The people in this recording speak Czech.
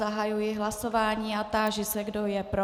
Zahajuji hlasování a táži se, kdo je pro.